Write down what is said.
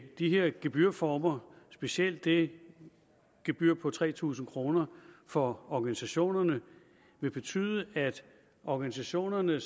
de her gebyrformer specielt det gebyr på tre tusind kroner for organisationerne vil betyde at organisationerne